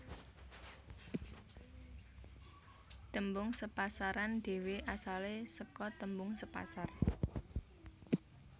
Tembung sepasaran dhewe asale sake tembung sepasar